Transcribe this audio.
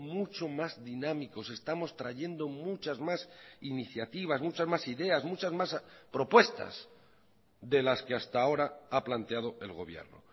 mucho más dinámicos estamos trayendo muchas más iniciativas muchas más ideas muchas más propuestas de las que hasta ahora ha planteado el gobierno